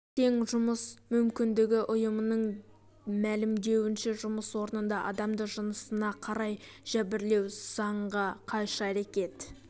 тең жұмыс мүмкіндігі ұйымының мәлімдеуінше жұмыс орнында адамды жынысына қарай жәбірлеу заңға қайшы әрекет